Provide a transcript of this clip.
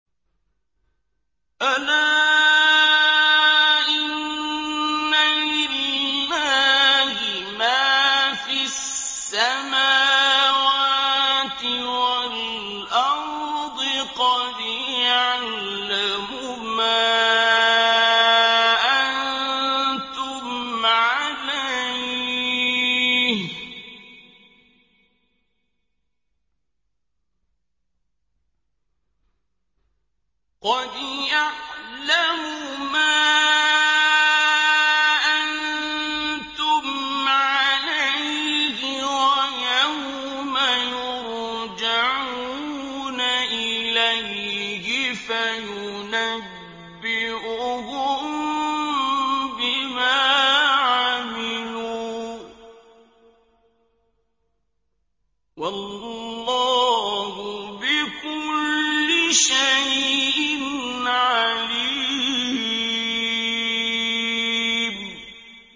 أَلَا إِنَّ لِلَّهِ مَا فِي السَّمَاوَاتِ وَالْأَرْضِ ۖ قَدْ يَعْلَمُ مَا أَنتُمْ عَلَيْهِ وَيَوْمَ يُرْجَعُونَ إِلَيْهِ فَيُنَبِّئُهُم بِمَا عَمِلُوا ۗ وَاللَّهُ بِكُلِّ شَيْءٍ عَلِيمٌ